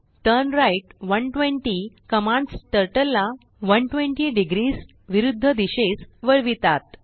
turn right 120कमांड्स Turtleला 120 degreesविरुद्ध दिशेस वळवितात